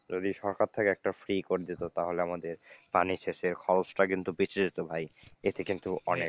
যদি সরকার থেকে একটা free করে দিত তাহলে আমাদের পানি সেচের খরচটা কিন্তু বেঁচে যেত ভাই, এতে কিন্তু অনেক,